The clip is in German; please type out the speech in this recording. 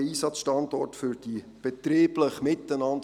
Ein allfälliger Einsatzstandort für die betrieblich miteinander